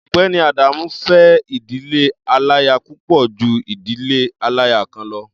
Ọ̀gbẹ́ni Adamu fẹ́ ìdílé aláya púpọ̀ ju ìdílé aláya kan lọ.